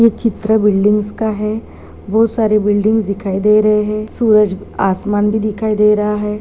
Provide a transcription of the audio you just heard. ये चित्र बिल्डिंग्स का है बहुत सारी बिल्डिंग्स दिखाई दे रहे है सूरज आसमान भी दिखाई दे रहा है।